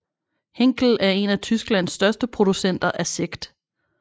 Henkell er en af Tysklands største producenter af sekt